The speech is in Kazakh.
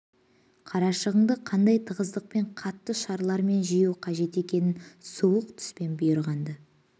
қарашығынды қандай тығыздықпен қатты шаралармен жию қажет екенін суық түспен бұйырған-ды